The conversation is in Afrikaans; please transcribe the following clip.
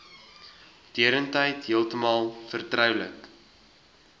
deurentyd heeltemal vertroulik